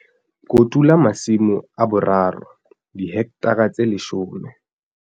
Kotula masimo a boraro, dihekthara tse leshome.